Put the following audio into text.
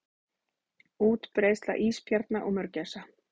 Útbreiðsla ísbjarna og mörgæsa.